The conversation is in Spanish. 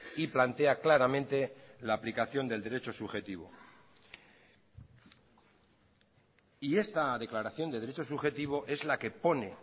y plantea claramente la aplicación del derecho subjetivo y esta declaración de derecho subjetivo es la que pone